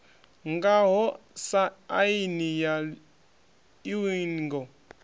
ngaho sa aini ya iuingo